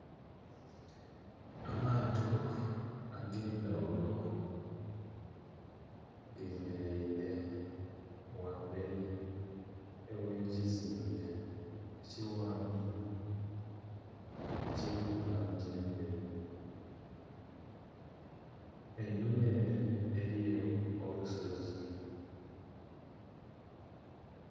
Amaato agendhaghulo gemereire wamberi awekizimbe ekighanvu ekiriku langi endheeru. Einhuma ere eliyo olusozi